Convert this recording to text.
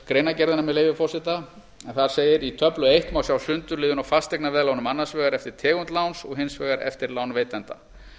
greinargerðina með leyfi forseta en þar segir í töflu eins má sjá sundurliðun á fasteignaveðlánum annars vegar eftir tegund láns og hins vegar eftir lánveitanda